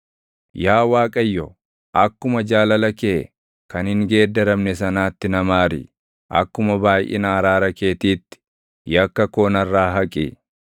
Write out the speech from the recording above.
Yaa Waaqayyo, akkuma jaalala kee kan hin geeddaramne sanaatti na maari; akkuma baayʼina araara keetiitti, yakka koo narraa haqi.